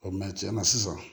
mɛ tiɲɛna sisan